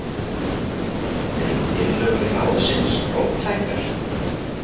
Eru tillögur ráðsins róttækar?